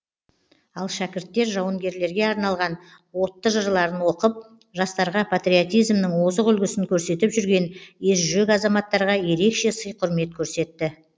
ал шәкірттер жауынгерлерге арналған отты жырларын оқып жастарға патриотизмнің озық үлгісін көрсетіп жүрген ержүрек азаматтарға ерекше сый құрмет көрсетті